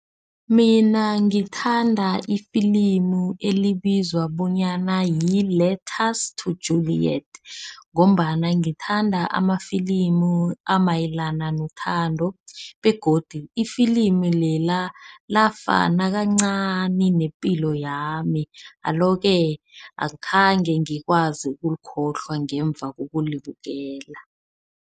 Mina ngithanda ifilimu elibizwa bonyana yi-Letters to Julliet ngombana ngithanda amafilimu amayelana nethando begodu ifilimu lela. Lafana kancani nepilo yami. Alo-ke akhange ngikwazi ukulikhohlwa ngemva kokulibukela.